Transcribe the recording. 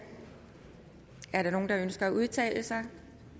er der nogen der ønsker at udtale sig